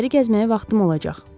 Şəhəri gəzməyə vaxtım olacaq.